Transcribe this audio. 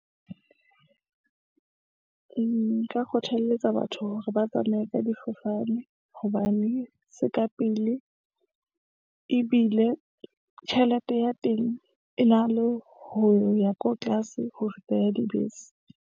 Nka kgothaletsa batho hore ba tsamaye ka difofane, hobane se ka pele ebile tjhelete ya teng e na le ho ya ko tlase ho feta ya dibese.